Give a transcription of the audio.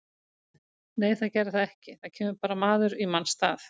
Nei það gerði það ekki, það kemur bara maður í manns stað.